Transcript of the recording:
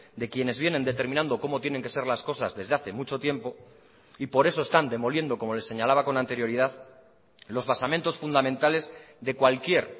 de quienes vienen determinando como tienen que ser las cosas desde hace mucho tiempo y por eso están demoliendo como les señalaba con anterioridad los basamentos fundamentales de cualquier